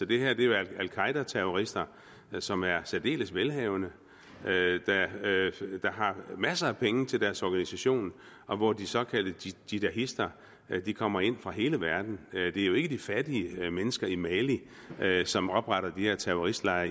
det her er jo al qaeda terrorister som er særdeles velhavende der har masser af penge til deres organisation og hvor de såkaldte jihadister kommer ind fra hele verden det er jo ikke de fattige mennesker i mali mali som opretter de her terroristlejre